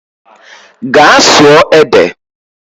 Gaa sụọ ede!